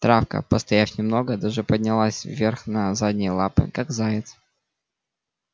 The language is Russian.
травка постояв немного даже поднялась вверх на задние лапы как заяц